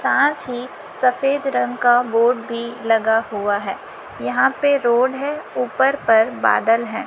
साथ ही सफेद रंग का बोर्ड भी लगा हुआ है यहां पे रोड है ऊपर पर बादल है।